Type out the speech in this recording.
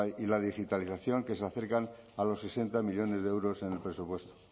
y la digitalización que se acercan a los sesenta millónes de euros en el presupuesto